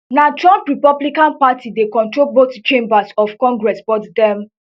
na trump republican party dey control both chambers of congress but dem